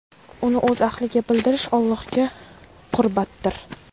uni o‘z ahliga bildirish – Allohga qurbatdir.